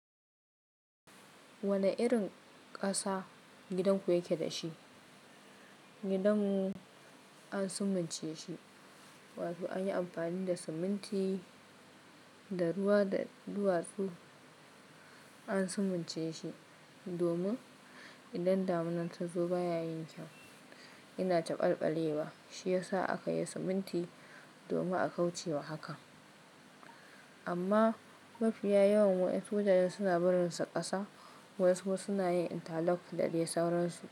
Wane irin ƙasa gidanku yake da shi? Gidan an sumunce shi, wato an yi amfani da siminti da ruwa da duwatsu an sumunce shi. Domin idan damuna ta zo baya yin kyau, yana taɓaɓale wa. Shi yasa akayi siminti domin a kauce wa haka. Amma mafiya yawan wadansu mutane suna barinsa ƙasa, wasu kuma suna yin intalok da dai sauransu.